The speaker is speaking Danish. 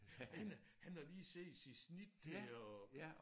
Han han har lige set sit snit til at